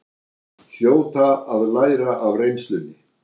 Hljóta að læra af reynslunni